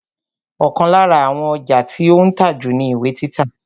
Ọ̀kan lára àwọn ọjà tí ó ń tà jù ni ìwé títa